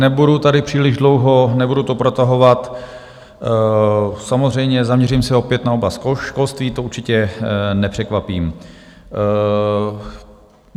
Nebudu tady příliš dlouho, nebudu to protahovat, samozřejmě zaměřím se opět na oblast školství, to určitě nepřekvapím.